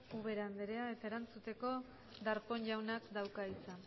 ubera andrea erantzuteko darpón jaunak dauka hitza